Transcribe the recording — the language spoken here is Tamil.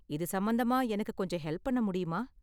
இது சம்பந்தமா எனக்கு கொஞ்சம் ஹெல்ப் பண்ண முடியுமா?